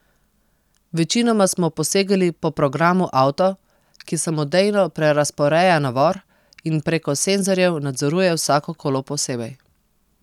Večinoma smo posegali po programu auto, ki samodejno prerazporeja navor in preko senzorjev nadzoruje vsako kolo posebej.